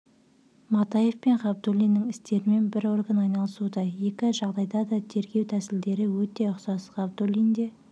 матаев пен ғабдулиннің істерімен бір орган айналысуда екі жағдайда да тергеу тәсілдері өте ұқсас ғабдуллин де